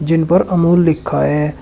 जिन पर अमूल लिखा है।